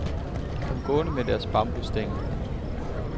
De kom gående med deres bambusstænger.